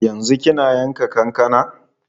Yanzu kina yanka kankana?